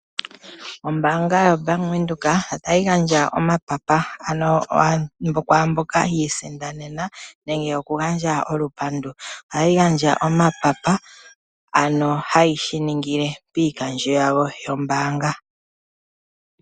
Ombaanga yaBank Windhoek otayi gandja omapapa kwaamboka yiisindanena nenge okugandja olupandu. Ohayi gandja omapapa, ano hayi shiningile piikandjo yawo yombaanga.